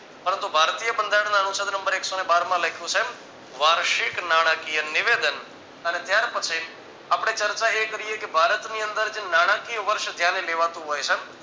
પરંતુ ભારતીય બંધારણ અનુસાર નંબર એક સો ને બાર માં લખ્યું છે વાર્ષિક નાણાકીય નિવેદન અને ત્યાર પછી આપણે ચર્ચા એ કરીયે કે ભારતની અંદર જે નાણાકીય વર્ષ ધ્યાને લેવાતું હોય છે.